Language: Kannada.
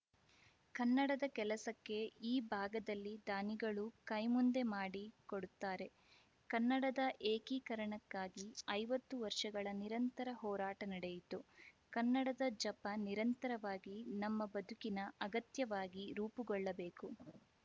ಕನ್ನಡದ ಕೆಲಸಕ್ಕೆ ಈ ಭಾಗದಲ್ಲಿ ದಾನಿಗಳು ಕೈ ಮುಂದೆ ಮಾಡಿ ಕೊಡುತ್ತಾರೆ ಕನ್ನಡದ ಏಕೀಕರಣಕ್ಕಾಗಿ ಐವತ್ತು ವರ್ಷಗಳ ನಿರಂತರ ಹೋರಾಟ ನಡೆಯಿತು ಕನ್ನಡದ ಜಪ ನಿರಂತರವಾಗಿ ನಮ್ಮ ಬದುಕಿನ ಅಗತ್ಯವಾಗಿ ರೂಪುಗೊಳ್ಳಬೇಕು